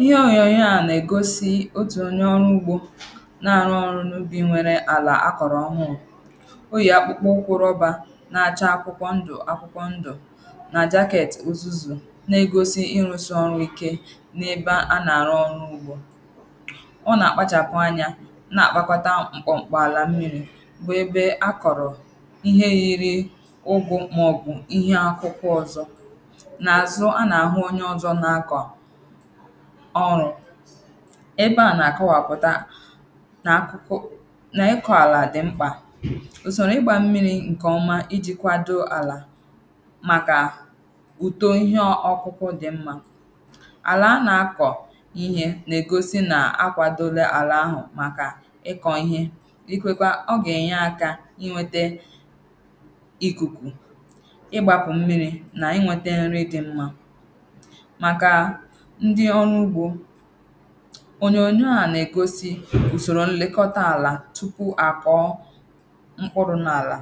ihe ònyòònyò a nà-egosi otù onye ọrụ̄ ugbō ná-árụ́ ọ́rụ̄ n’úbì nwéré àlà ákọ̀rọ̀ ọ́hụ́ụ́ ó yè ákpụ́kpọ́ ụ́kwụ̄ rọ́bà ná:chá ákwúkwọ́ ńdụ̀ ákwúkwọ́ ńdụ̀ nà jakēētì uzuzù na-egosi ịrụ̄sị̄ ọrụ ike n’ebe a nà-àrụ ọrụ̄ ugbō ọ nà-àkpachàpụ anyā nà-àkpakọta m̀kpọ̀m̀kpọ̀ àlà mmīrī bụ̀ ebe akọ̀rọ̀ ihe yiri ụgụ̄ màọbụ̀ ihe akwụkwọ ọzọ̄ n’àzụ a nà-àhụ onye ọzọ̄ na-akọ̀ ọrụ̄ ebe a nà-àkọwapụ̀ta nà akwụkwọ nà ịkọ̀ àlà dịmkpà ùsòrò igbā mmīrī ǹkèọma ijī kwado àlà màkà ùto ihe ọkụ̄kụ̄ dị̀ mmā àlà a nà-akọ̀ ihe nà-egosi nà akwādòòla àlà ahụ̀ màkà ikọ̀ ihe ikwekwa ọ gà-ènyeaka inwētē ìkùkù ịgbāpụ̀ mmiri nà inwētā nri dị mmā màkà ndi ọrụ ugbō ònyòònyò á nà-égósí ùsòrò ńlékọ́tá àlà túpú àkọ́ọ́ mkpụrụ̄ n’àlà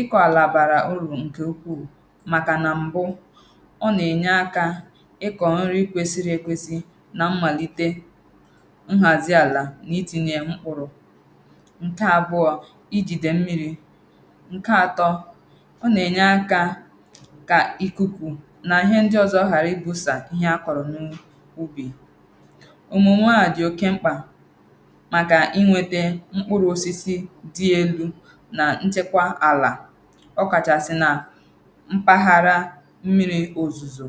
ịkọ̀ àlà bàrà urù ǹkè ukwuu màkà nà m̀bụ ọ nà-ènye akā ịkọ̀ nri kwesiri ekwēsī nà mmàlitè nhàzi àlà nà itīnyē mkpụrụ̄ ǹkè àbụọ̀ i jìdè mmirī ǹkè atọ̄ ọ nà-ènye akā kà ìkùkù nà ihe ndi ọzọ̄ ghàra ibusà ihe akọ̀rọ̀ n’ubì ọ̀mụ̀mụ̀ à dì oke mkpà màkà inwētā mkpụrụ̄ osisi di elū nà nchekwa àlà ọkàchàsị̀ mpaghara mmiri òzùzò